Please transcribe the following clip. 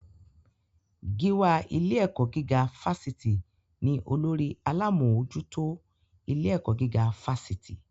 Gíwá ilé-ẹ̀kọ́ gígá fásitì ní olórí alámòójútó ilé-ẹ̀kọ́ gíga fásitì.